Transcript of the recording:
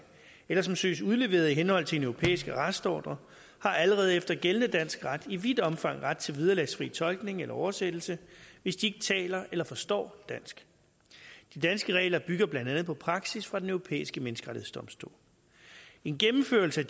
eller som søges udleveret i henhold til en europæisk arrestordre har allerede efter gældende dansk ret i vidt omfang ret til vederlagsfri tolkning eller oversættelse hvis de ikke taler eller forstår dansk de danske regler bygger blandt andet på praksis fra den europæiske menneskerettighedsdomstol en gennemførelse af